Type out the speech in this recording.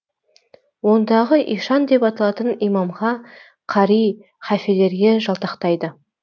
ондағы ишан деп аталатын имамға қари халфелерге жалтақтайды